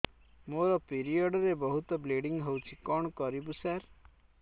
ମୋର ପିରିଅଡ଼ ରେ ବହୁତ ବ୍ଲିଡ଼ିଙ୍ଗ ହଉଚି କଣ କରିବୁ ସାର